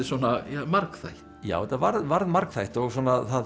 svona margþætt já þetta varð varð margþætt og svona